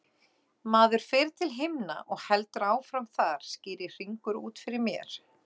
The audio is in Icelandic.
Maður fer til himna og heldur áfram þar, skýrir Hringur út fyrir mér.